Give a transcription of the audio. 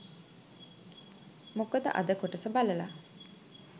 මොකද අද කොටස බලලා